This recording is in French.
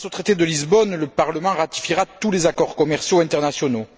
Grâce au traité de Lisbonne, le Parlement ratifiera tous les accords commerciaux internationaux.